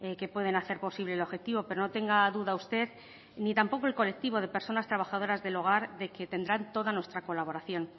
que pueden hacer posible el objetivo pero no tenga duda usted ni tampoco el colectivo de personas trabajadoras del hogar de que tendrán toda nuestra colaboración